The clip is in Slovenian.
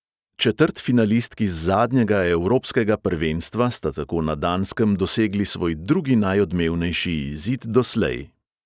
Četrtfinalistki z zadnjega evropskega prvenstva sta tako na danskem dosegli svoj drugi najodmevnejši izid doslej.